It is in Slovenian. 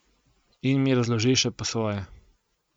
In mi razloži še po svoje.